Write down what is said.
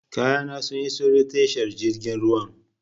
Kayana sun iso ta tashar jirgin ruwan.